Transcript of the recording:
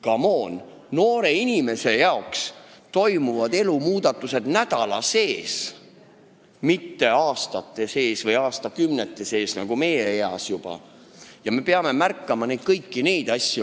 Come on, noore inimese jaoks toimuvad elumuutused nädalaga, mitte aastate või aastakümnetega nagu meie eas, ja me peame kõiki neid asju märkama.